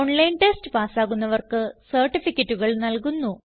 online test പാസ്സാകുന്നവർക്ക് സർട്ടിഫികറ്റുകൾ നല്കുന്നു